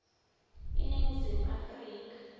iningizimu afrika